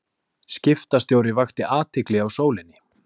Skiptastjóri vakti athygli á Sólinni